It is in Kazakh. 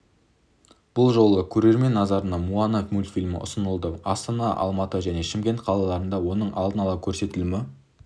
бұл жолы көрермен назарына моана мультфильмі ұсынылды астана алматы және шымкент қалаларында оның алдын ала көрсетілімі